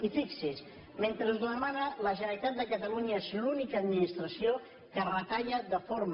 i fixi’s mentre ho demana la generalitat de catalunya és l’única administració que retalla de forma